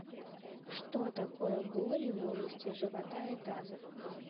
что такое боли в области живота и таза